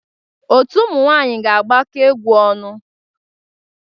Otu ụmụ nwanyị ga-agbakwa egwu ọnụ.